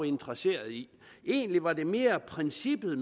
interesseret i egentlig var det mere princippet